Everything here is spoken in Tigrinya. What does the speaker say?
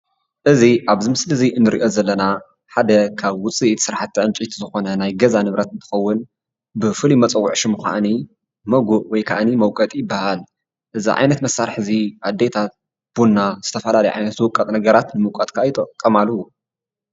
እዚ ኣብ እዚ ምስሊ እዚ እንሪኦ ዘለና ሓደ ካብ ውፅኢት ስራሕቲ ዕንጨይቲ ዝኮነ ናይ ገዛ ንብረት እንትከውን ብፍሉ ይመፀዊዒ ሽሙ ድማ ሞጎእ ወይ ድማ መቆጢ ይባሃል፡፡ እዚ ዓይነት መሳሪሒ አዴታት ቡና ዝተፈላለዩ ዓይነት ዝውቀጡ ነገራት ከዓ መውቆጢ ይጥቀማሉ፡፡